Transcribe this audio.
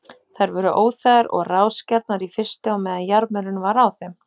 Þær voru óþægar og rásgjarnar í fyrstu á meðan jarmurinn var á þeim.